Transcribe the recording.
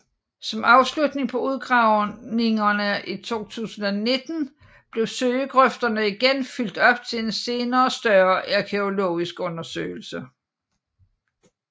Som afslutning på udgravningerne i 2019 blev søgegrøfterne igen fyldt op til en senere større arkæologisk undersøgelse